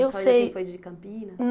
Eu sei. De campinas Hum